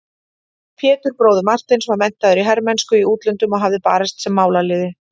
Pétur bróðir Marteins var menntaður í hermennsku í útlöndum og hafði barist sem málaliði.